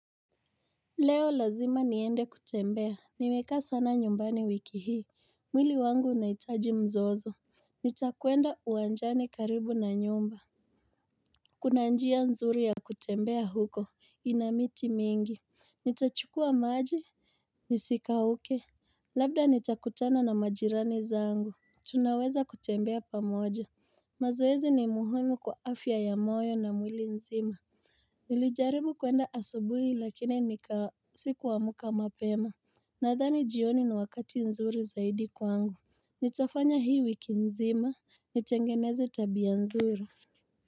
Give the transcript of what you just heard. Leo lazima niende kutembea, nimekaa sana nyumbani wiki hii mwili wangu unahitaji mzozo Nitakuenda uwanjani karibu na nyumba Kuna njia nzuri ya kutembea huko, inamiti mingi Nitachukua maji Nisikauke Labda nitakutana na majirani zangu Tunaweza kutembea pamoja mazoezi ni muhumu kwa afya ya moyo na mwili nzima Nilijaribu kuenda asubuhi lakini nika siku amka mapema Nadhani jioni ni wakati nzuri zaidi kwangu Nitafanya hii wiki mzima Nitengeneze tabia nzuri.